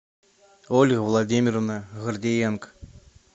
ольга владимировна гордиенко